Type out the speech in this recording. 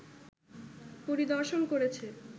পরিদর্শন করেছে